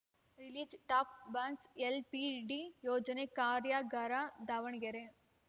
release top box LPED ಯೋಜನೆ ಕಾರ್ಯಾಗಾರ ದಾವಣಗೆರೆ